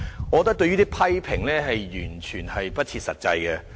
我覺得這些批評完全不設實際。